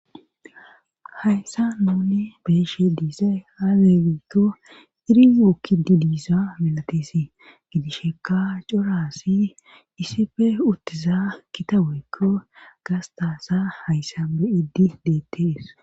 Hayssa none beeshe diisay haagegiikko irimookkidi diisa milatisi gidisheka coraassi iisife uttiza kitaweekko gastasa hayssambe iddi deettees.